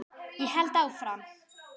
Ég held áfram.